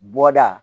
Bɔda